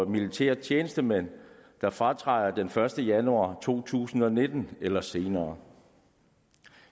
militære tjenestemænd der fratræder den første januar to tusind og nitten eller senere